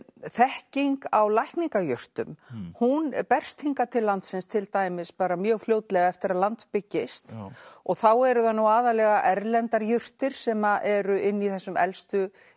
þekking á lækningajurtum hún berst hingað til landsins til dæmis mjög fljótlega eftir að land byggist og þá eru það nú aðallega erlendar jurtir sem eru inn í þessum elstu